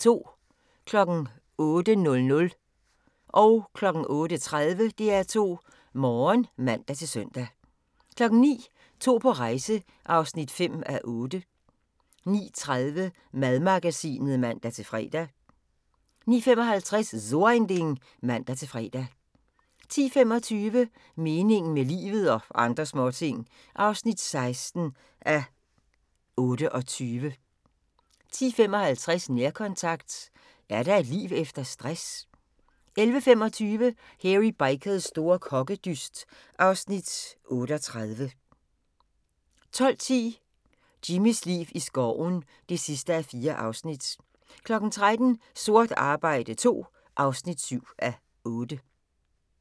08:00: DR2 Morgen (man-søn) 08:30: DR2 Morgen (man-søn) 09:00: To på rejse (5:8) 09:30: Madmagasinet (man-fre) 09:55: So ein Ding (man-fre) 10:25: Meningen med livet – og andre småting (16:28) 10:55: Nærkontakt – er der et liv efter stress? 11:25: Hairy Bikers store kokkedyst (Afs. 38) 12:10: Jimmys liv i skoven (4:4) 13:00: Sort arbejde II (7:8)